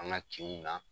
An ka kinw na